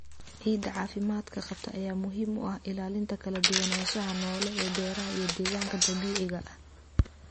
Ciidda caafimaadka qabta ayaa muhiim u ah ilaalinta kala duwanaanshaha noole ee beeraha iyo deegaanka dabiiciga ah.